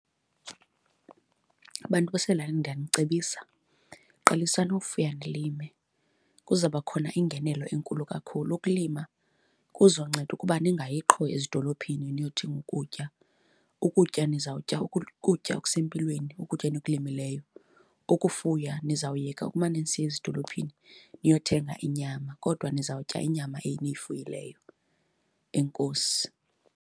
Bantu basezilalini ndiyanicebisa, qalisani ufuya nilime, kuzawuba khona iingenelo enkulu kakhulu. Ukulima kuzonceda ukuba ningayi qho ezidolophini niyothenga ukutya, ukutya nizawutya ukutya okusempilweni, ukutya enikulimileyo. Ukufuya niza kuyeka ukumane nisiya ezidolophini niyothenga inyama kodwa ndizawutya inyama eniyifuyileyo. Enkosi.